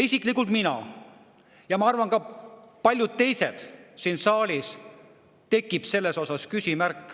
Isiklikult minul ja ma arvan, et ka paljudel teistel siin saalis tekivad selle koha peal küsimused.